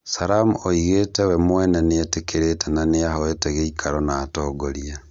Sallam oigĩte "we mwene nĩetĩkĩrĩte na nĩahoote gĩikaro na atongoria"